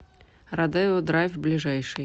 родео драйв ближайший